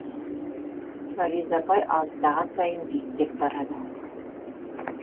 фариза апай алыстаған сайын биіктеп барады